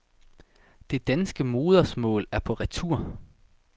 Det danske modersmål er på retur.